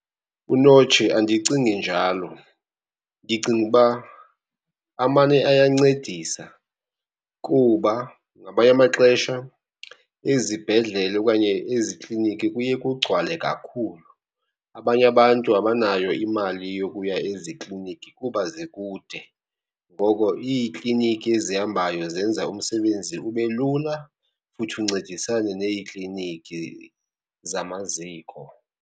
Unotshe, andicingi njalo. Ndicinga uba amane ayancedisa kuba ngamanye amaxesha ezibhedlele okanye ezikliniki kuye kugcwale kakhulu, abanye abantu abanayo imali yokuya ezikliniki kuba zikude. Ngoko iikliniki ezihambayo zenza umsebenzi ube lula futhi uncedisane neekliniki zamaziko.